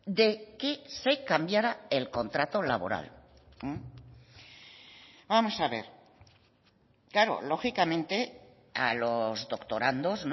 de que se cambiara el contrato laboral vamos a ver claro lógicamente a los doctorandos